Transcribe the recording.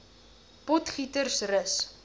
potgietersrus